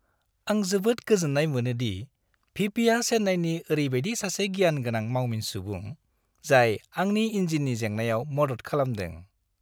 आं जोबोद गोजोननाय मोनो दि भि. पि. आ चेन्नाईनि ओरैबायदि सासे गियान गोनां मावमिन सुबुं जाय आंनि इन्जिननि जेंनायाव मदद खालामदों।